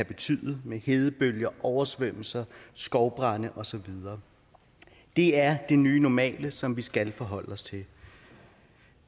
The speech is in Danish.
betyder med hedebølger oversvømmelser skovbrande og så videre det er det nye normale som vi skal forholde os til